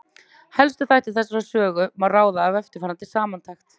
Helstu þætti þessarar sögu má ráða af eftirfarandi samantekt.